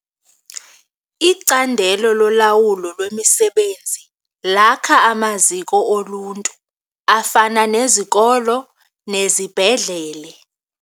Icandelo lolawulo lwemisebenzi lakha amaziko oluntu afana nezikolo nezibhedlele.